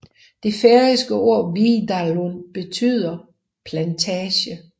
Det færøske ord viðarlund betyder plantage